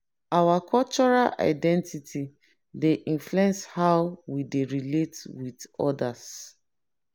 our cultural identity dey influence how we dey relate with odas.